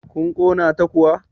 kun Kona ta kuwa?